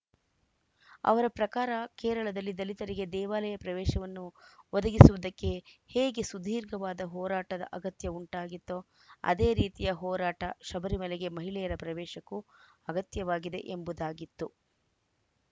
ಅವರ ಪ್ರಕಾರ ಕೇರಳದಲ್ಲಿ ದಲಿತರಿಗೆ ದೇವಾಲಯ ಪ್ರವೇಶವನ್ನು ಒದಗಿಸುವುದಕ್ಕೆ ಹೇಗೆ ಸುದೀರ್ಘವಾದ ಹೋರಾಟದ ಅಗತ್ಯ ಉಂಟಾಗಿತ್ತೋ ಅದೇ ರೀತಿಯ ಹೋರಾಟ ಶಬರಿಮಲೆಗೆ ಮಹಿಳೆಯರ ಪ್ರವೇಶಕ್ಕೂ ಅಗತ್ಯವಾಗಿದೆ ಎಂಬುದಾಗಿತ್ತು